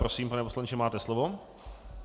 Prosím, pane poslanče, máte slovo.